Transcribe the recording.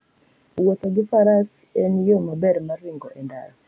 Wuotho gi faras en yo maber mar ringo e ndara.